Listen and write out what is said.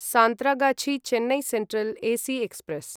Santragachi Chennai central AC express